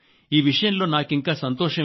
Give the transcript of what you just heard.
ఈ విషయంలో నాకింకా సంతోషం